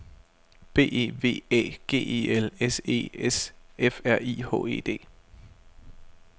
B E V Æ G E L S E S F R I H E D